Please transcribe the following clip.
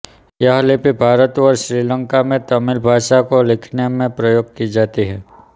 यह लिपि भारत और श्रीलंका में तमिऴ भाषा को लिखने में प्रयोग की जाती है